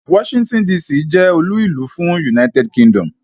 Washington DC jẹ́ olú ìlú fún United Kingdom.